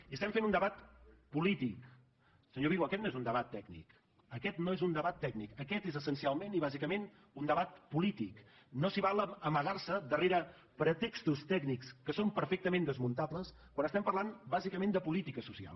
i estem fent un debat polític senyor vigo aquest no és un debat tècnic aquest no és un debat tècnic aquest és essencialment i bàsicament un debat polític no s’hi val a amagar se darrere pretextos tècnics que són perfectament desmuntables quan estem parlant bàsicament de política social